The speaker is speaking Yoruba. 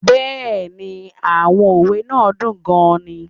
Yes, the proverbs are very interesting